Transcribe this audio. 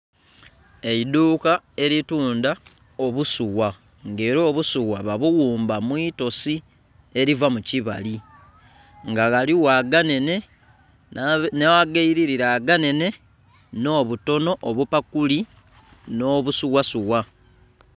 Eidhuuka eritundha obusuwa nga era obusuwa babuwumba mwiitosi eriva mukimbali nga waligho aganhenhe nhagairira aganhenhe nhobutono obupakuli nobusuwasuwa.